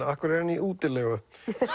af hverju er hann í útilegu